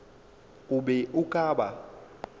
o be o ka ba